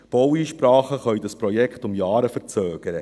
Baueinsprachen können dieses Projekt um Jahre verzögern.